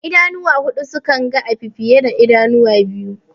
Idanuwa huɗu sukanga abu fiye da idanuwa biyu.